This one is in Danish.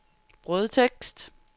brødtekst